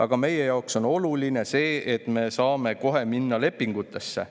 Aga meie jaoks on oluline see, et me saame kohe minna lepingutesse.